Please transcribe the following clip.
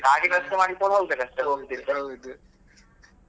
ಗಾಡಿ ವ್ಯವಸ್ಥೆ ಮಾಡಿಕೊಂಡು ಹೋಗ್ಬೇಕ್ ಅಷ್ಟೇ .